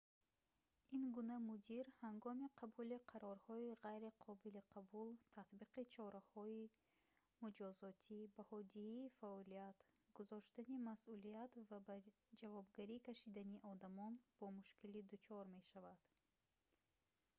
ин гуна мудир ҳангоми қабули қарорҳои ғайри қобили қабул татбиқи чораҳои муҷозотӣ баҳодиҳии фаъолият гузоштани масъулият ва ба ҷавобгарӣ кашидани одамон бо мушкилӣ дучор мешавад